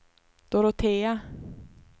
Dorotea